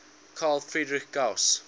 carl friedrich gauss